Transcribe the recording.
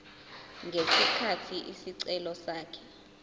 ngesikhathi isicelo sakhe